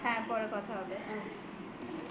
হ্যাঁ পরে কথা হবে